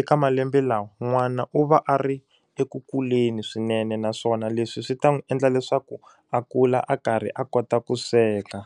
eka malembe lawa n'wana u va a ri eku kuleni swinene naswona leswi swi ta n'wi endla leswaku a kula a karhi a kota ku sweka.